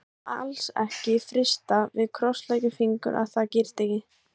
Það má alls ekki frysta, við krossleggjum fingur að það gerist ekki.